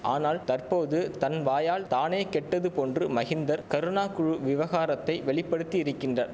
ஆனால் தற்போது தன் வாயால் தானே கெட்டது போன்று மகிந்தர் கருணா குழு விவகாரத்தை வெளிப்படுத்தியிரிக்கின்றார்